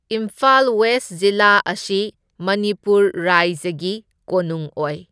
Imphal west ꯖꯤꯂꯥ ꯑꯁꯤ ꯃꯅꯤꯄꯨꯔ ꯔꯥꯏꯖꯒꯤ ꯀꯣꯅꯨꯡ ꯑꯣꯏ꯫